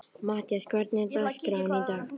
Mattías, hvernig er dagskráin í dag?